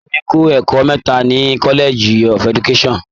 Bìdèmí kọ́ ẹ̀kọ́ mẹ́ta ní College of education.